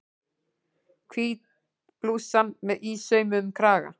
Hvít blússan með ísaumuðum kraga.